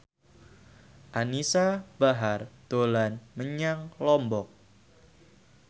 Anisa Bahar dolan menyang Lombok